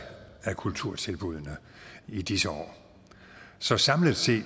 af kulturtilbuddene i disse år så samlet set